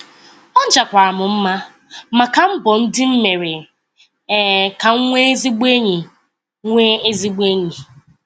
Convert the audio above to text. Ọ jakwara m mma maka mbọ ndị m mere um ka m nwee ezigbo enyi. nwee ezigbo enyi.